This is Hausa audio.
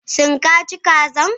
Shin ka ci kazan?